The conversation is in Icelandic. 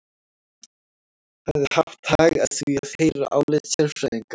Hefði haft hag að því að heyra álit sérfræðinga.